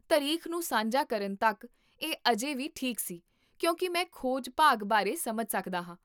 ਤਾਰੀਖ ਨੂੰ ਸਾਂਝਾ ਕਰਨ ਤੱਕ ਇਹ ਅਜੇ ਵੀ ਠੀਕ ਸੀ, ਕਿਉਂਕਿ ਮੈਂ ਖੋਜ ਭਾਗ ਬਾਰੇ ਸਮਝ ਸਕਦਾ ਹਾਂ